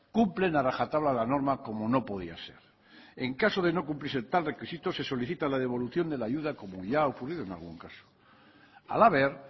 cumplen a raja tabla la norma como no podía ser en caso de no cumplirse tal requisito se solicita la devolución de la ayuda como ya ha ocurrido en algún caso halaber